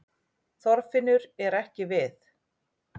Þorfinnur er ekki við